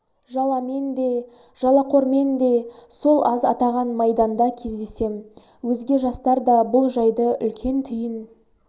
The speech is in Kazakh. жаламен да жалақормен де сол аз атаған майданда кездесем өзге жастар да бұл жайды үлкен түйін